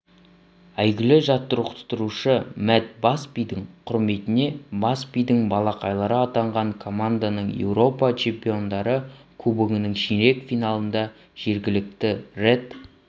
әйгілі жаттықтырушы мэтт басбидің құрметіне басбидің балақайлары атанған команданың еуропа чемпиондары кубогының ширек финалында жергілікті ред